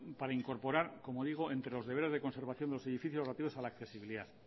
para incorporar como digo entre los deberes de conservación de los edificios relativos a la accesibilidad